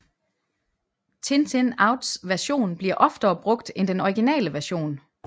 Tin Tin Outs version bliver oftere brugt end den originale version